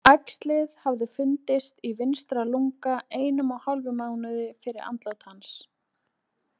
Æxli hafði fundist í vinstra lunga einum og hálfum mánuði fyrir andlát hans.